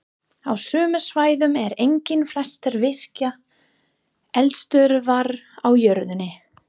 Á sömu svæðum eru einnig flestar virkar eldstöðvar á jörðinni.